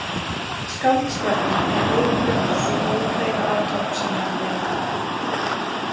Skáldskapurinn er öðru fremur sú ófeiga athöfn sem menn leita að.